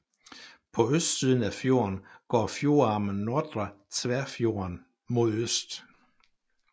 På østsiden af fjorden går fjordarmen Nordre Tverrfjorden mod øst